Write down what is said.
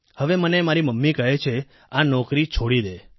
હવે મને મારી મમ્મી કહે છે આ નોકરી છોડી દે